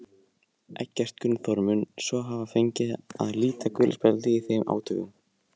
Þetta var gert eftir að ljóst varð að berklar voru smitsjúkdómur.